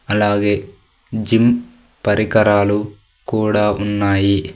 అలాగే జిమ్ పరికరాలు కూడా ఉన్నాయి.